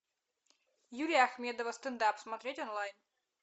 юлия ахмедова стендап смотреть онлайн